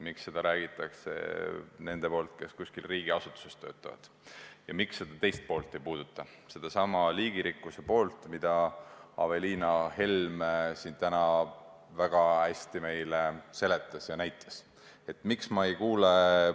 Miks seda räägivad need, kes kuskil riigiasutuses töötavad, ja miks ei puudutata seda teist poolt: sedasama liigirikkuse poolt, mida Aveliina Helm siin täna väga hästi meile seletas ja näitas?